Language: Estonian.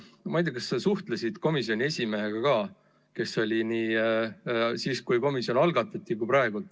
Ma ei tea, kas sa suhtlesid komisjoni esimehega ka, kes oli esimees nii siis, kui komisjon loodi, kui ka praegu.